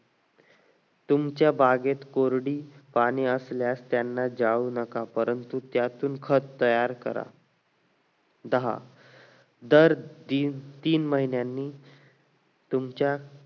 तुमच्या बागेत कोरडी घाण असल्यास त्यांना जाळू नका परंतु त्यातून खत तयार करा दहा दर तीन तीन महिन्यांनी तुमच्या